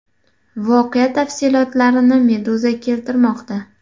Voqea tafsilotlarini Meduza keltirmoqda .